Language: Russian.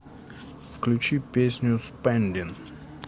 включи песню спэндин